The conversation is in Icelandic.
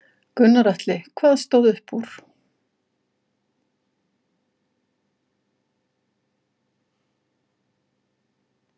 Gunnar Atli: Hvað stóð upp úr?